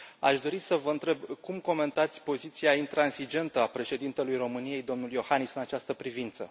Aș dori să vă întreb cum comentați poziția intransigentă a președintelui României, domnul Iohannis, în această privință.